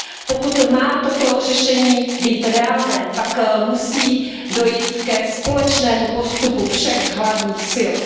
Pokud má toto řešení být reálné, pak musí dojít ke společnému postupu všech hlavních sil.